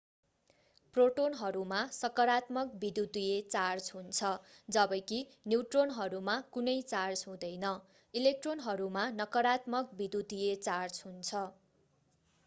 प्रोटोनहरूमा सकारात्मक विद्युतीय चार्ज हुन्छ जबकि न्यूट्रोनहरूमा कुनै चार्ज हुँदैन इलेक्ट्रोनहरूमा नकारात्मक विद्युतीय चार्ज हुन्छ